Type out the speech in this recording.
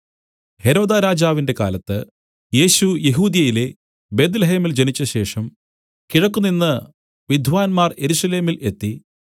ഹെരോദാരാജാവിന്റെ കാലത്ത് യേശു യെഹൂദ്യയിലെ ബേത്ത്ലേഹേമിൽ ജനിച്ചശേഷം കിഴക്കുനിന്ന് വിദ്വാന്മാർ യെരൂശലേമിൽ എത്തി